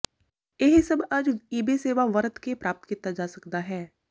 ਇਹ ਸਭ ਅੱਜ ਈਬੇ ਸੇਵਾ ਵਰਤ ਕੇ ਪ੍ਰਾਪਤ ਕੀਤਾ ਜਾ ਸਕਦਾ ਹੈ